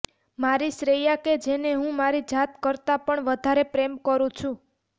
મારી શ્રેયા કે જેને હું મારી જાત કરતાં પણ વધારે પ્રેમ કરું છું